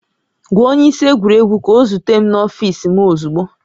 Gwa onye isi egwuregwu ka ọ zute m n'ọfiisi m ozugbo